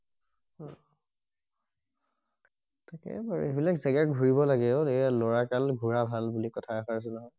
ঠিকেই বাৰু সেইবিলাক জেগাত ঘূৰিব লাগে অ এই লৰা কাল ঘূৰা ভাল বুলি কথা এসাৰ আছে নহয়